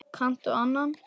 Kanntu annan?